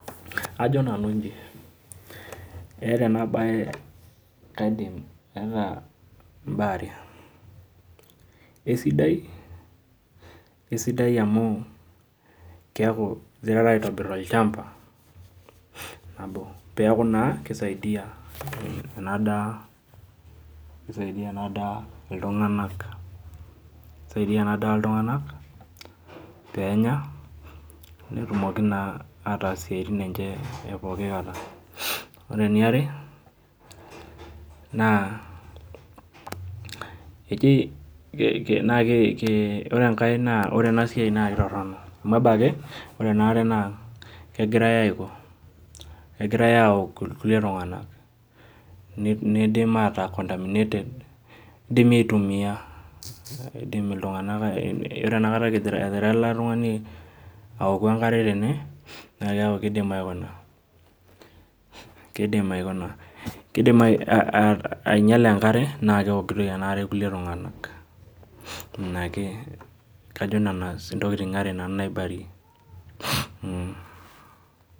Ajo nanu iji, eeta enabae kaidim eeta imbaa are. Esidai, esidai amu, keeku girara aitobir olchamba, nabo peku naa kisaidia enadaa kisaidia enadaa iltung'anak. Kisaidia enadaa iltung'anak, penya, netumoki naa ataas isiaitin enche epooki kata. Ore eniare, naa ejii ore enkae naa ore enasiai na kitorrono. Amu ebaki, ore ena kegirai aiko, kegirai aok irkulie tung'anak. Nidim ataa contaminated, kidimi aitumia idim iltung'anak yiolo enakata egira ele tung'ani aoku enkare tene, na keeku kidim aikuna, kidim aikuna kidim ainyala enkare na keokitoi enaare kulie tung'anak. Inake kajo nena intokiting are nanu naibarie.